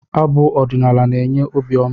Abụ ọdinaala na-enye obi ọma